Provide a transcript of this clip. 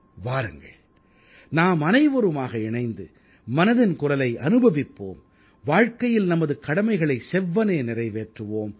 வாருங்கள் நாமனைவருமாக இணைந்து மனதின் குரலை அனுபவிப்போம் வாழ்க்கையில் நமது கடமைகளை செவ்வனே நிறைவேற்றுவோம்